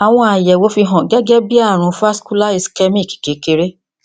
àwọn àyẹwò fi hàn gẹgẹ bí àrùn vascular ischemic kékeré